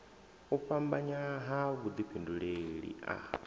u fhambanya ha vhudifhinduleli a